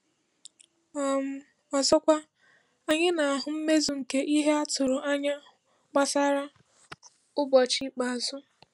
um Ọzọkwa, anyị na-ahụ mmezu nke ihe a tụrụ anya gbasara “ụbọchị ikpeazụ.”